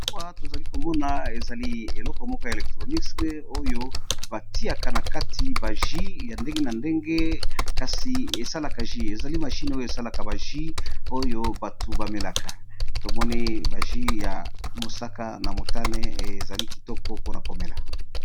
Awa, tozali komona ezali eleko moko ya electronisme, oyo ba tiaka na kati baji ya ndenge na ndenge. Kasi esalaka ji, ezali mashine oyo esalaka baji oyo batu bamelaka. Tomoni baji ya mosaka, na motane. Ezali kitoko mpona komela.